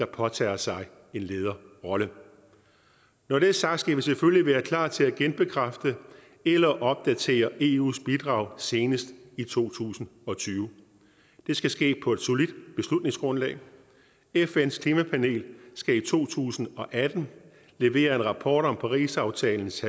påtager sig en lederrolle når det er sagt skal vi selvfølgelig være klar til at genbekræfte eller opdatere eus bidrag senest i to tusind og tyve det skal ske på et solidt beslutningsgrundlag fns klimapanel skal i to tusind og atten levere en rapport om parisaftalens